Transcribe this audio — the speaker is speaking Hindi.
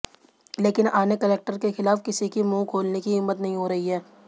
लेकिन आने कलेक्टर के खिलाफ किसी की मुहं खोलने की हिम्मत नहीं हो रही है